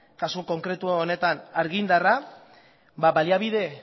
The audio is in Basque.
kasu konkretu honetan argindarra